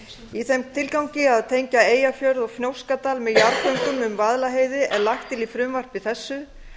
í þeim tilgangi að tengja eyjafjörð og fnjóskadal með jarðgöngum um vaðlaheiði er lagt til í frumvarpi þessu